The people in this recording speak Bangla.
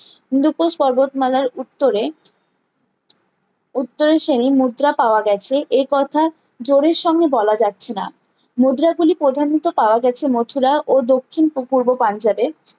হিন্দুকোশ পর্বতমালার উত্তরে উত্তরা শ্রেণী মুদ্রা পাওয়া গেছে এ কথা জোরের সঙ্গে বলা যাচ্ছে না মুদ্রা গুলি প্রধানত পাওয়া গেছে মথুরা ও দক্ষিন পূর্ব পাঞ্জাবে